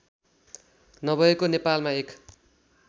नभएको नेपालमा एक